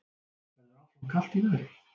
Verður áfram kalt í veðri